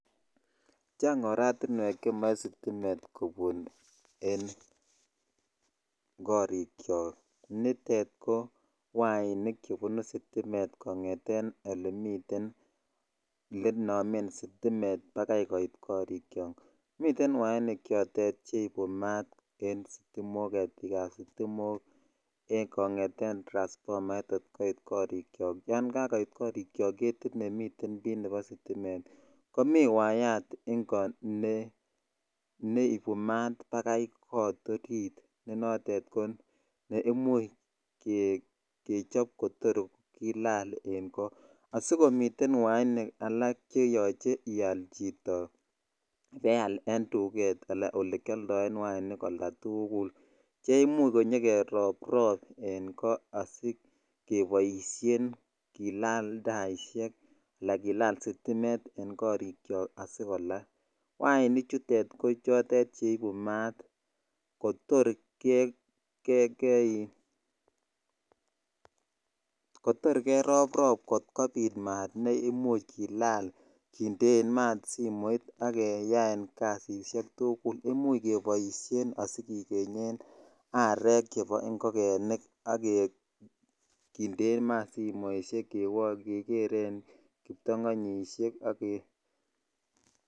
Chang oratiwek chemo sitimet kobune en korik cho nitet ko wainik chebunu stiletto kongeten olemiten olenomen sometimes bakoit korikk chok miten wainik choton cheibu mat en getikbab sitimok kongeten transpomait kot koit korichok yan kakoit korichok getit nemiten bii nebo sitomet ii ko mii way at ingo neibu mat bakai kot orit ne noton koimuch kechop kotor kolal en kot asikomiten wainik all cheyoche ial chito ibaial en duket ala olekioldoen wainik oldatukul che imuch konyokeroprop en ko asikeboishen kill taishek ala kill sitimet en korik chokasikolal wainik chutet ko cheibu maat kotoe kee ii(puse) kotor keroprop kotor kobit maat ne imuch kill kindeen maat simoit ak keyan kasishek tukul imoch keboisien asikikenten arek chebo ingogenik ak kindeen maat simoishek ak kekeren kiptongonyishek ak ke.